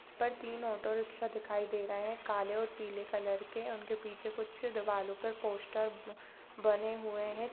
पर तीन ऑटोरिक्शा दिखाई दे रहे हैं काले और पीले कलर के उनके पीछे कुछ दीवालो पर पोस्टर बने हुए है।